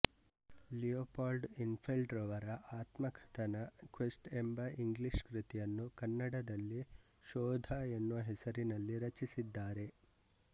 Leopold Infeld ರವರ ಆತ್ಮ ಕಥನ ಕ್ವೆಸ್ಟ್ ಎಂಬ ಇಂಗ್ಲೀಷ್ ಕೃತಿಯನ್ನು ಕನ್ನಡದಲ್ಲಿ ಶೋಧ ಎನ್ನುವ ಹೆಸರಿನಲ್ಲಿ ರಚಿಸಿದ್ದಾರೆ